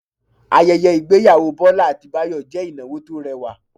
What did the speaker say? Ayẹyẹ ìgbéyàwó Bọ́lá àti Báyọ̀ jẹ́ ìnáwó tó rẹwà